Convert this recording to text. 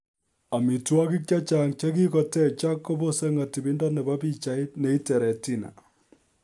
Amitwokik chechang chekikotechak kobose ng'atibindo nebo pichait neite retina